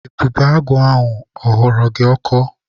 Ebubeagụ ahụ ọ ghọrọ gị ọkọ?